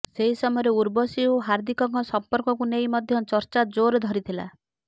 ସେହି ସମୟରେ ଉର୍ବଶୀ ଓ ହାର୍ଦ୍ଦିକଙ୍କ ସମ୍ପର୍କକୁ ନେଇ ମଧ୍ୟ ଚର୍ଚ୍ଚା ଜୋର ଧରିଥିଲା